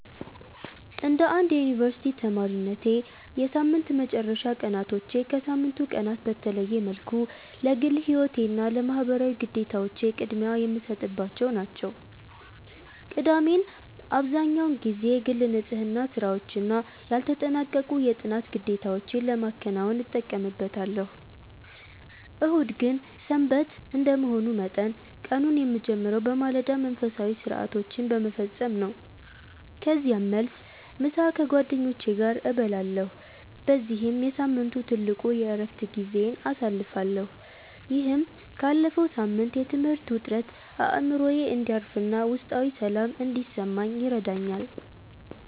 እንደ አንድ የዩኒቨርሲቲ ተማሪነቴ፣ የሳምንት መጨረሻ ቀናቶቼ ከሳምንቱ ቀናት በተለየ መልኩ ለግል ሕይወቴና ለማኅበራዊ ግዴታዎቼ ቅድሚያ የምሰጥባቸው ናቸው። ቅዳሜን አብዛህኛውን ጊዜ የግል ንጽሕና ሥራዎችና ያልተጠናቀቁ የጥናት ግዴታዎቼን ለማከናወን እጠቀምበታለሁ። እሁድ ግን "ሰንበት" እንደመሆኑ መጠን፣ ቀኑን የምጀምረው በማለዳ መንፈሳዊ ሥርዓቶችን በመፈጸም ነው። ከዚያም መልስ፣ ምሳ ከጓደኞቼ ጋር እበላለሁ በዚህም የሳምንቱ ትልቁ የዕረፍት ጊዜዬን አሳልፋለሁ። ይህም ካለፈው ሳምንት የትምህርት ውጥረት አእምሮዬ እንዲያርፍና ውስጣዊ ሰላም እንዲሰማኝ ይረዳኛል።